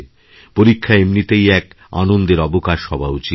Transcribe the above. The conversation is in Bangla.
পরীক্ষা এমনিতেই এক আনন্দের অবকাশ হওয়া উচিত